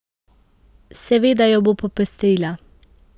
Seveda jo bo popestrila.